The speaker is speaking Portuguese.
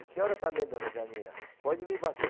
A senhora também, dona Janina, pode me bater.